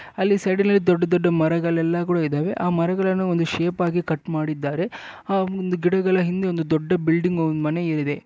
ಅಲ್ಲಿ ಪಕ್ಕದಲ್ಲಿ ದೊಡ್ಡ ದೊಡ್ಡ ಮರಗಳು ಸಹ ಇವೆ ಮರಗಳನ್ನು ಶೇಪ್ ನಲ್ಲಿ ಕಟ್ ಮಾಡಿದ್ದಾರೆ ಆ ಒಂದು ಗಿಡಗಳ ಹಿಂದೆ ದೊಡ್ಡ ಬಿಲ್ಡಿಂಗ್ ಒಂದು ಮನೆ ಇದೆ.